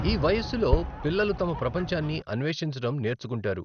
ఈ వయస్సులో, పిల్లలు తమ ప్రపంచాన్ని అన్వేషించడం నేర్చుకుంటారు.